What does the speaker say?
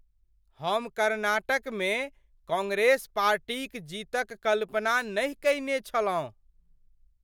हम कर्नाटकमे कांग्रेस पार्टीक जीतक कल्पना नहि कयने छलहुँ।